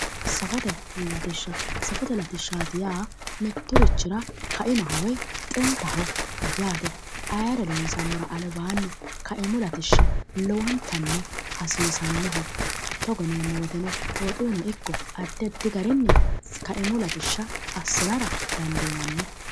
Safote latishsha, Safote latishshaati yaa mitturichira kaimaho woyi xintaho yaate. ayeere loonsammora albaanni kaimublatishshi lowontanni hasiisannoho. togo yineemmo woyiiteno woxuyiino ikko addi addi garinni kaimu latishsha assinara dandiinanni.